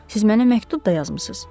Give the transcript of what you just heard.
Siz mənə məktub da yazmısız?